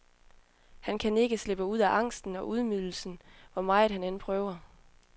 Han kan ikke slippe ud af angsten og ydmygelsen, hvor meget han end prøver.